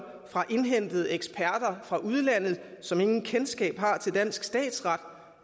indhentede eksperter fra udlandet som intet kendskab har til dansk statsret